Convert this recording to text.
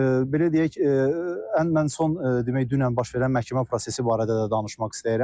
Belə deyək, ən mən son, demək, dünən baş verən məhkəmə prosesi barədə də danışmaq istəyirəm.